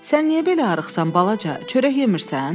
Sən niyə belə arıxsan, balaca, çörək yemirsən?